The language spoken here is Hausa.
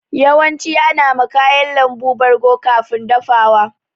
Yawanci ana ma kayan lambu bargo kafin dafawa.